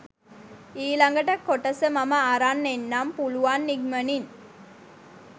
ඊළගට කොටස මම අරන් එන්නම් පුළුවන් ඉක්මනින්